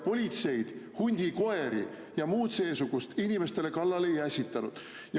Politseid, hundikoeri ja muud seesugust inimestele kallale ei ässitanud.